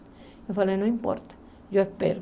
Ele falou, não importa, eu espero.